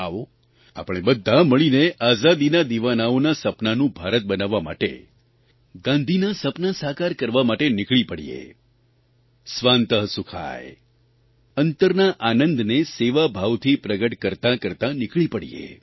આવો આપણે બધાં મળીને આઝાદીના દિવાનાઓના સપનાનું ભારત બનાવવા માટે ગાંધીના સપનાં સાકાર કરવા માટે નીકળી પડીએ સ્વાન્તઃ સુખાય અંતરના આનંદને સેવાભાવથી પ્રગટ કરતાં કરતાં નીકળી પડીએ